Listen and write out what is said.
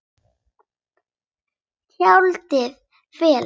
Tjaldið fellur.